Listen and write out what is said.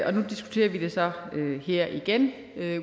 og nu diskuterer vi det så her igen